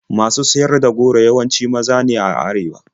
Masu siyar da goro yawanci maza ne a arewa.